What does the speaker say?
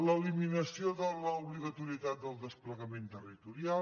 l’eliminació de l’obligatorietat del desplegament territorial